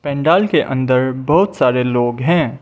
पंडाल के अंदर बहोत सारे लोग हैं।